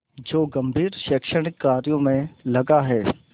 जो गंभीर शैक्षणिक कार्यों में लगा है